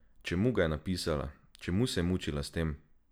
Čemu ga je napisala, čemu se je mučila s tem?